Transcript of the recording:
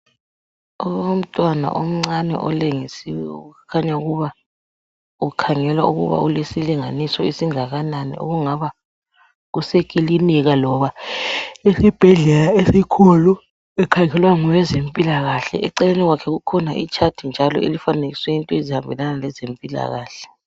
Umntwana omncane olengisiweyo okukhanya ukuba kukhangelwa ukuba ulesilinganiso esingakanani okungaba kusekilinika loba esibhedlela esikhulu ukhangelwa ngowezempilakahle eceleni kwakhe kukhona ichart njalo elifanekiswe into ezihambelana lezempilakahle.